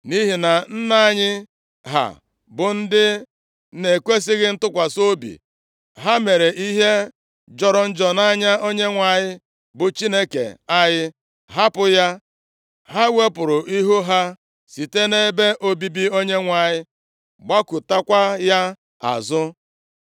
Nʼihi na nna anyị ha bụ ndị na-ekwesighị ntụkwasị obi; ha mere ihe jọrọ njọ nʼanya Onyenwe anyị bụ Chineke anyị, hapụ ya. Ha wepụrụ ihu ha site nʼebe obibi Onyenwe anyị, gbakụtakwa ya azụ.